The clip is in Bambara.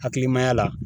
Hakilimaya la